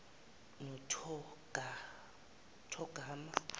nothogarma